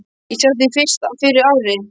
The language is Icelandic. Ég sá þig fyrst fyrir ári.